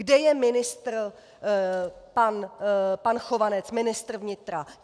Kde je ministr pan Chovanec, ministr vnitra?